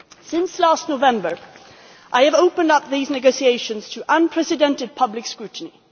Since last November, I have opened up these negotiations to unprecedented public scrutiny.